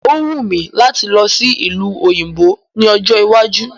O wù mí láti lọ sí ìlú òyìnbó ní ọjọ́ iwájú